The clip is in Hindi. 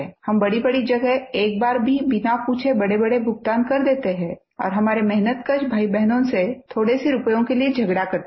हम बड़ीबड़ी जगह एक बार भी बिना पूछे बड़ेबड़े भुगतान कर देते हैं और हमारे मेहनतकश भाईबहनों से थोड़े से रुपयों के लिए झगड़ा करते हैं